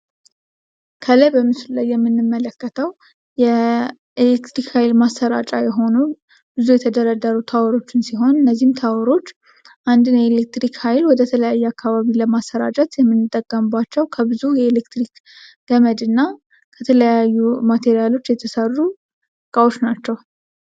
ከላይ ምስሉ ላይ የምንመለከተው የኤሌክትሪክ ማስተላለፊያ የሆኑ ብዙ የተደረደሩ ታወሮች ናቸው። እነዚህ ታወሮች ኤሌክትሪክ ሀይሎችን ለተለያዩ አካባቢዎች የሚያስተላልፋ ከብዙ የኤሌክትሪክ ገመዶች እና ከተለያዩ ማቴሪያሎች የተሰሩ ናቸው ።